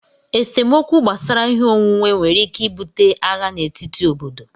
Esemokwu gbasara ihe onwunwe nwere ike ibute agha n'etiti obodo